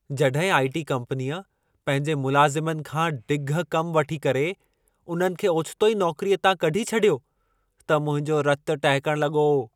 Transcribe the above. जॾहिं आई.टी. कम्पनीअ पंहिंजे मुलाज़िमनि खां ढिॻ कम वठी करे, उन्हनि खे ओचितो ई नौकरीअ तां कढी छॾियो, त मुंहिंजो रत टहिकण लॻो।